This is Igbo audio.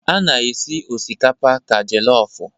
A na-esi osikapa ka jelofụ.